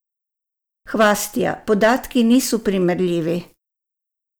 Hvastija: "Podatki niso primerljivi.